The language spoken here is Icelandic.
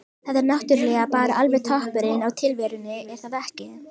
Það er náttúrulega bara alveg toppurinn á tilverunni er það ekki?